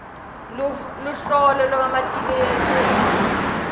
luholo lwakamatiku letjezi lwa